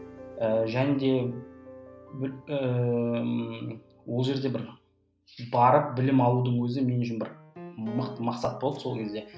ііі және де ол жерде бір барып білім алудың өзі мен үшін бір мықты мақсат болды сол кезде